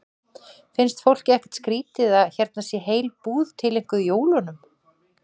Finnst fólki ekkert skrýtið að hérna sé heil búð tileinkuð jólunum?